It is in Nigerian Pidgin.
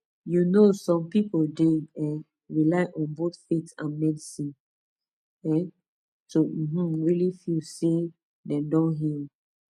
you know some people dey um rely on both faith and medicine um to um really feel say dem don heal